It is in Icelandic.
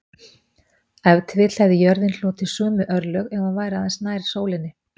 Ef til vill hefði jörðin hlotið sömu örlög ef hún væri aðeins nær sólinni.